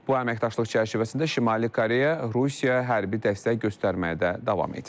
Bu əməkdaşlıq çərçivəsində Şimali Koreya Rusiya hərbi dəstək göstərməyə də davam edir.